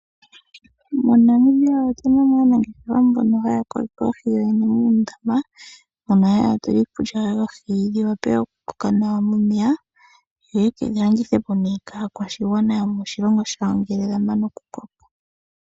MoNamibia otuna aanangeshefa mbono haya kokeke oohi muundama, mona haya tula mo iikulya yoohi dhi wa pe oku koka nawa momeya, yo ye kedhi landitha po nee kaakwashigwana yomoshilongo shawo ngele yamana kukokeka.